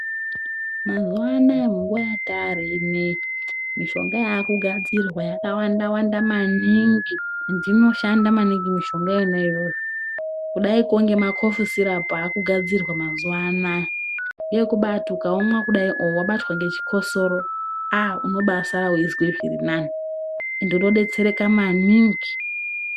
Mazuva anaya munguva yatari inoiyi mishonga yakugadzirwa yakawanda-wanda maningi. Endi inoshanda maningi mishonga iyonayo kudaiko ngemakofi sirapu akugadzirwa mazuva anaya. Neekubati ukaumwa kudai oo vabatwa ngechikososo aaa unobasara uizwa zvirinani ende unobetsereka maningi.